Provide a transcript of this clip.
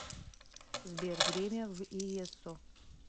сбер время в иессо